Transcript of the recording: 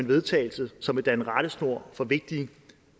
vedtagelse som vil danne rettesnor for vigtige